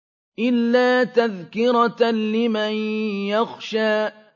إِلَّا تَذْكِرَةً لِّمَن يَخْشَىٰ